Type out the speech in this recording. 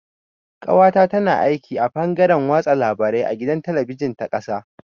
Ƙawata na aiki a fangaren watsa labarai a gidan talabijin ta ƙasa.